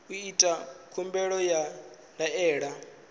u ita khumbelo ya ndaela